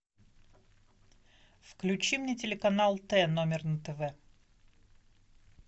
включи мне телеканал т номер на тв